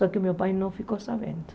Só que meu pai não ficou sabendo.